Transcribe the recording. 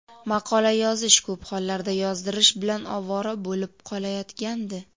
maqola yozish (ko‘p hollarda yozdirish) bilan ovora bo‘lib qolayotgandi.